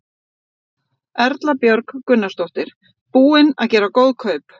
Erla Björg Gunnarsdóttir: Búinn að gera góð kaup?